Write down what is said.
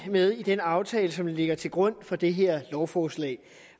med i den aftale som ligger til grund for det her lovforslag